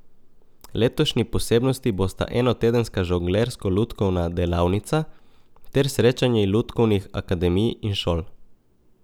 Letošnji posebnosti bosta enotedenska žonglersko lutkovna delavnica ter srečanje lutkovnih akademij in šol.